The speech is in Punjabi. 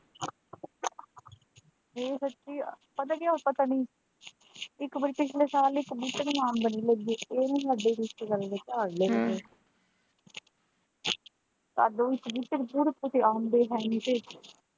ਇਹ ਸੱਚੀ ਪਤਾ ਕਿਆ ਪਤਾ ਨਹੀਂ ਇੱਕ ਵਾਰੀ ਪਿਛਲੇੇ ਸਾਲ ਇੱਕ ਬੂਟੇ ਨੂੰ ਅੰਬ ਨਹੀਂ ਲੱਗੇ ਇਹ ਨਾ ਸਾਡੇ ਰਿਸ਼ਤੇਦਾਰਾਂ ਦੇ ਘਰ ਲੱਗ ਗਏ ਸਾਡੇ ਵੀ ਇੱਕ ਬੂਟੇ ਨੂੰ .